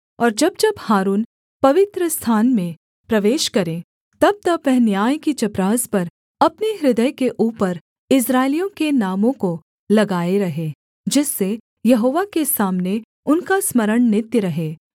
और जब जब हारून पवित्रस्थान में प्रवेश करे तबतब वह न्याय की चपरास पर अपने हृदय के ऊपर इस्राएलियों के नामों को लगाए रहे जिससे यहोवा के सामने उनका स्मरण नित्य रहे